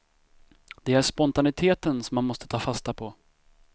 Det är spontaniteten som man måste ta fasta på.